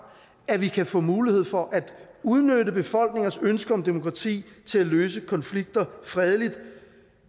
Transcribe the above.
at vi kan få mulighed for at udnytte befolkningers ønske om demokrati til at løse konflikter fredeligt